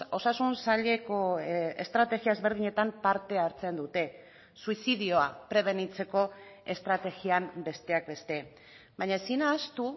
osasun saileko estrategia ezberdinetan parte hartzen dute suizidioa prebenitzeko estrategian besteak beste baina ezin ahaztu